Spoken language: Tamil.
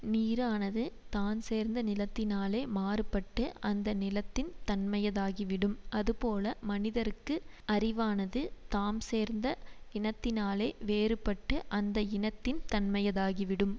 நீரானது தான் சேர்ந்த நிலத்தினாலே மாறுபட்டு அந்த நிலத்தின் தன்மையதாகிவிடும் அதுபோல மனிதர்க்கு அறிவானது தாம் சேர்ந்த இனத்தினாலே வேறுபட்டு அந்த இனத்தின் தன்மையதாகிவிடும்